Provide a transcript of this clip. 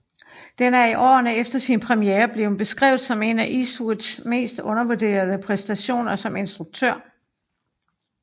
Den er i årene efter sin premiere blevet beskrevet som en af Eastwoods mest undervurderede præstationer som instruktør